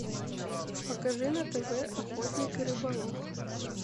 покажи на тв охотник и рыболов